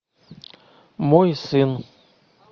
мой сын